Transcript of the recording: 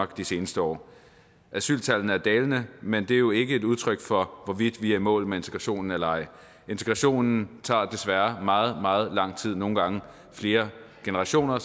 de seneste år asyltallene er dalende men det er jo ikke et udtryk for hvorvidt vi er i mål med integrationen eller ej integrationen tager desværre meget meget lang tid nogle gange flere generationer